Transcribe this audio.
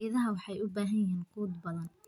Idaha waxay u baahan yihiin quud badan.